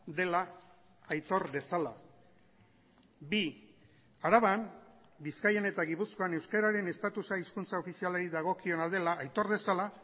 dela aitor dezala bi araban bizkaian eta gipuzkoan euskararen estatusa hizkuntza ofizialari dagokiona dela aitor dezala